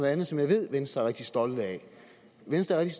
andet som jeg ved venstre er rigtig stolte af venstre er